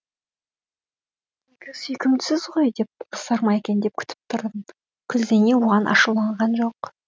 тегі сүйкімдісіз ғой деп ұрсар ма екен деп күтіп тұрдым күлзейне оған ашуланған жоқ